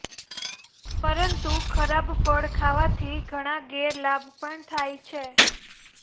પરંતુ ખરાબ ફળ ખાવાથી ઘણા ગેરલાભ પણ થાય છે